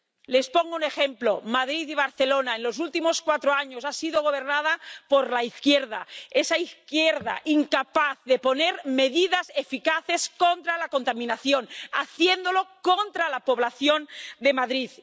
Les pongo un ejemplo Madrid y Barcelona en los últimos cuatro años han sido gobernadas por la izquierda, esa izquierda incapaz de poner medidas eficaces contra la contaminación, haciéndolo contra la población de Madrid.